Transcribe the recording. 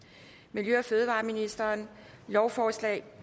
miljø og fødevareministeren lovforslag